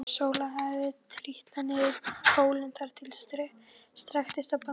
Sóla hafði trítlað niður hólinn þar til strekktist á bandinu.